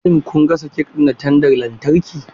Shin kun gasa kek da tanderun lantarki?